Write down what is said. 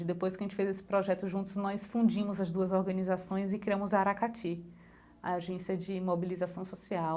Depois que a gente fez esse projeto juntos, nós fundimos as duas organizações e criamos a Aracati, a agência de mobilização social.